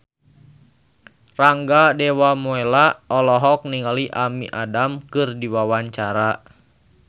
Rangga Dewamoela olohok ningali Amy Adams keur diwawancara